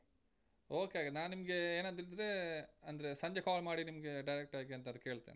Okay ಹಾಗಾದ್ರೆ, ನಾ ನಿಮ್ಗೆ ಏನಾದ್ರೂ ಇದ್ರೆ, ಅಂದ್ರೆ ಸಂಜೆ call ಮಾಡಿ ನಿಮ್ಗೆ direct ಆಗಿ ಎಂತಾದ್ರೂ ಕೇಳ್ತೇನೆ.